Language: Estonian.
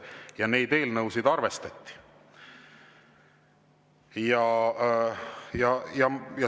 Ja neid arvestati.